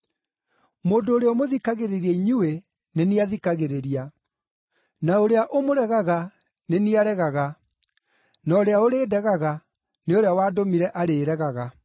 “Mũndũ ũrĩa ũmũthikagĩrĩria inyuĩ nĩ niĩ athikagĩrĩria, na ũrĩa ũmũregaga nĩ niĩ aregaga, na ũrĩa ũrĩndegaga nĩ ũrĩa wandũmire arĩĩregaga.”